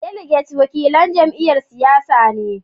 Daliget wakilan jam'iyyar siyasa ne.